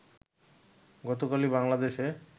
গতকালই বাংলাদেশে